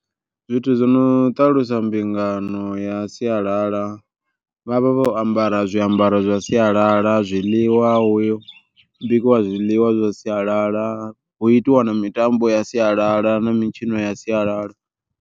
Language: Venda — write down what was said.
Zwithu zwo no ṱalusa mbingano ya sialala, vhavha vho ambara zwiambaro zwa sialala zwiḽiwa hu bikiwa zwiḽiwa zwa sialala. Hu itiwa na mitambo ya sialala na mitshino ya sialala.